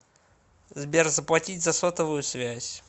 сбер заплатить за сотовую связь